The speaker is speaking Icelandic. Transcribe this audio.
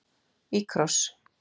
Í kross.